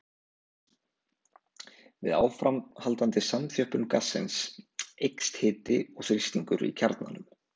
Við áframhaldandi samþjöppun gassins eykst hiti og þrýstingur í kjarnanum.